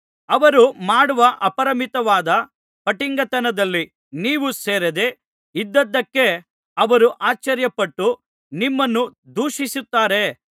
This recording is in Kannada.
ಅವರು ಮಾಡುವ ಅಪರಿಮಿತವಾದ ಪಟಿಂಗತನದಲ್ಲಿ ನೀವು ಸೇರದೆ ಇದ್ದದ್ದಕ್ಕೆ ಅವರು ಆಶ್ಚರ್ಯಪಟ್ಟು ನಿಮ್ಮನ್ನು ದೂಷಿಸುತ್ತಾರೆ